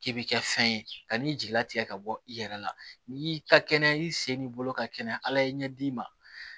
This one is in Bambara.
K'i bi kɛ fɛn ye ka n'i jigila tigɛ ka bɔ i yɛrɛ la n'i y'i ka kɛnɛya i sen n'i bolo ka kɛnɛya ala ye ɲɛ d'i ma